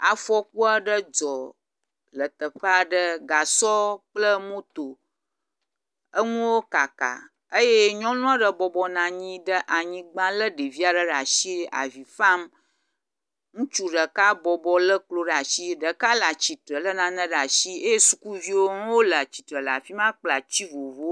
Afɔku aɖe dzɔ le teƒe aɖe gasɔ kple moto enuwo kaka eye nyɔnu aɖe bɔbɔ nɔ anyi ɖe anyigba lé ɖevi aɖe ɖe asi avi fam. Ŋutsu ɖeka bɔbɔ lé klo ɖe asi, ɖeka le atsitre lé nane ɖe asi eye sukuviwo hã le atsitre le afi ma kple atsi vovovowo